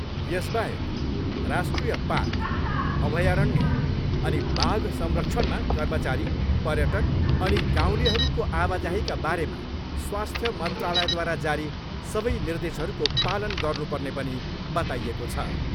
यसबाहेक राष्ट्रिय पार्क, अभयारण्य अनि बाघ संरक्षणमा कर्मचारी, पर्यटक अनि गाउँलेहरूको आवाजाहीका बारेमा स्वस्थ्य मन्त्रालयद्वारा जारी सबै निर्देशहरूको पालन गर्नुपर्ने पनि बताइएको छ।